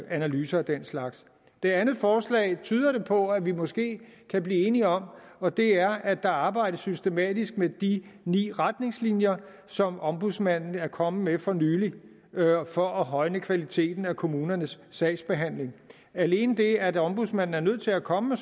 analyser af den slags det andet forslag tyder det på at vi måske kan blive enige om og det er at der arbejdes systematisk med de ni retningslinjer som ombudsmanden er kommet med for nylig for at højne kvaliteten af kommunernes sagsbehandling alene det at ombudsmanden er nødt til at komme med